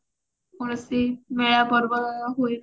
ମେଳା ପର୍ବ ହୁଏ